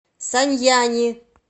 саньяни